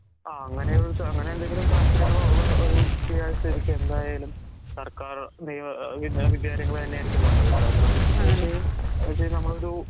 ആ അങ്ങനെയുംച അങ്ങനെയെന്തെങ്കിലും താല്പര്യങ്ങളുള്ള ഒരൂ കുട്ടിയായിട്ടെനിക്കെന്തായാലും സർക്കാറ് നിയ ഏഹ് വിദ്യ വിദ്യാലങ്ങള് തന്നെയാരിക്കും നല്ലത്. കാരണം പക്ഷെ നമ്മളൊരു